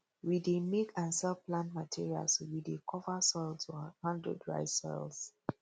we dey make and sell plant materials wey dey cover soil to handle dry soils